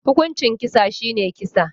Hukuncin kisa shine kisa